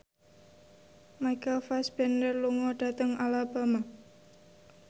Michael Fassbender lunga dhateng Alabama